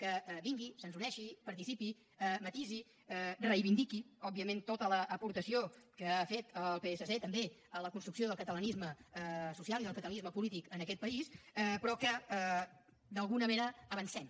que vingui se’ns uneixi participi matisi i reivindiqui òbviament tota l’aportació que ha fet el psc també a la construcció del catalanisme social i del catalanisme polític en aquest país però que d’alguna manera avancem